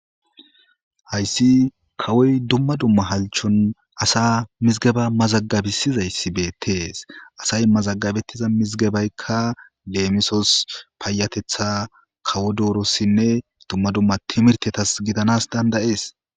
hayssi kawoy dumma dumma halchon asa mizgeba mazagabisizayssi beettees asay mazagabettiza mizgebeykka leemisos payatetha kawo doorossinne dumma dumma timirtetas gidanas danda'ees